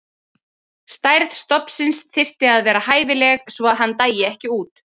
Stærð stofnsins þyrfti að vera hæfileg svo að hann dæi ekki út.